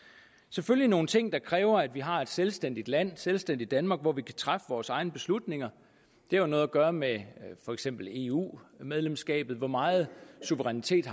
selvfølgelig nogle ting der kræver at vi har et selvstændigt land selvstændigt danmark hvor vi kan træffe vores egne beslutninger det har noget at gøre med for eksempel eu medlemskabet altså hvor meget suverænitet